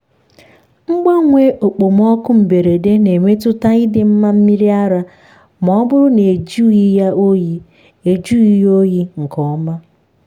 mgbanwe okpomọkụ mberede na-emetụta ịdị mma mmiri ara ma ọ bụrụ na ejughị ya oyi ejughị ya oyi nke ọma.